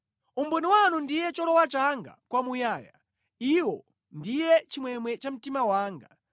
Umboni wanu ndiye cholowa changa kwamuyaya; Iwo ndiye chimwemwe cha mtima wanga.